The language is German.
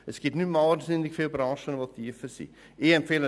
Es gibt nicht mehr sehr viele Branchen mit tiefer liegenden Löhnen.